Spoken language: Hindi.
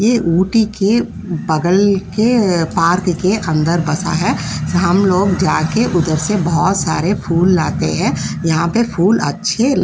ये ऊटी के बगल के पार्क के अंदर बसा है। हम लोग जाकर उधर से बहुत सारे फूल लाते हैं। यहाँ पर फूल अच्छे --